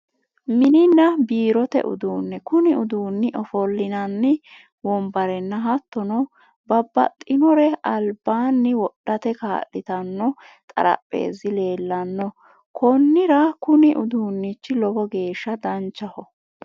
Mininna biirote uduunne kuni uduunni ofollinanni wombarenna hattono babbaxxinore albaanni wodhate kaa'litanno xarapeezi leellanno konnira kuni uduunnj lowo geeshsha danchaho